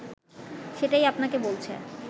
সেটাই আপনাকে বলছে